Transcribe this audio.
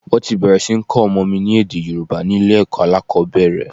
Wọ́n ti bẹ̀rẹ̀ sí ní kọ́ ọmọ mi ní èdè Yorùbá ni ilé ẹ̀kọ́ alákòbẹ̀rẹ̀.